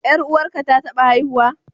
Ƴar uwarka ta taɓa haihuwa?